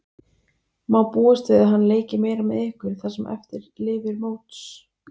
Má búast við að hann leiki meira með ykkur það sem eftir lifir móts?